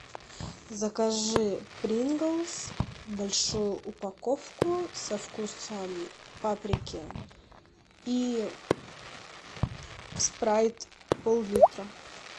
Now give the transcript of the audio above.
закажи принглс большую упаковку со вкусом паприки и спрайт пол литра